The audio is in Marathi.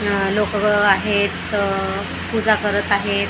आह लोक आहेत पूजा करत आहेत.